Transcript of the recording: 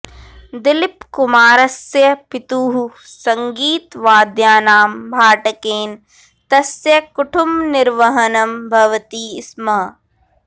दिलीपकुमारस्य पितुः सङ्गीतवाद्यानां भाटकेन तस्य कुटुम्बनिर्वहणं भवति स्म